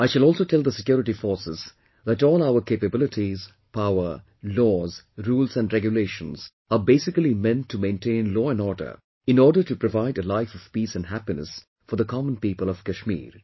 I shall also tell the security forces that all our capabilities, power, laws, rules and regulations are basically meant to maintain law and order in order to provide a life of peace and happiness for the common people of Kashmir